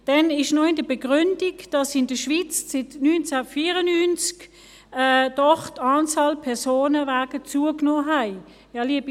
Dann steht noch in der Begründung, dass die Anzahl Personenwagen in der Schweiz seit 1994 zugenommen hat.